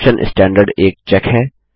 option standard एक check है